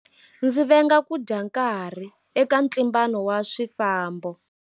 Ndzi venga ku dya nkarhi eka ntlimbano wa swifambo.